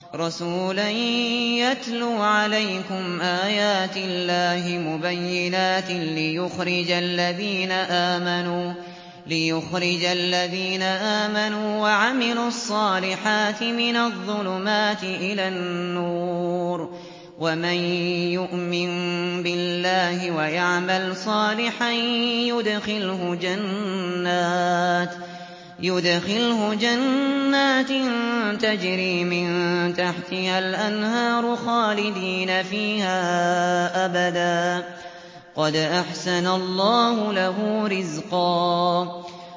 رَّسُولًا يَتْلُو عَلَيْكُمْ آيَاتِ اللَّهِ مُبَيِّنَاتٍ لِّيُخْرِجَ الَّذِينَ آمَنُوا وَعَمِلُوا الصَّالِحَاتِ مِنَ الظُّلُمَاتِ إِلَى النُّورِ ۚ وَمَن يُؤْمِن بِاللَّهِ وَيَعْمَلْ صَالِحًا يُدْخِلْهُ جَنَّاتٍ تَجْرِي مِن تَحْتِهَا الْأَنْهَارُ خَالِدِينَ فِيهَا أَبَدًا ۖ قَدْ أَحْسَنَ اللَّهُ لَهُ رِزْقًا